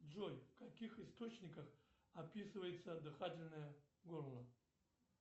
джой в каких источниках описывается дыхательное горло